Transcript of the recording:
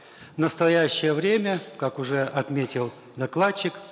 в настоящее время как уже отметил докладчик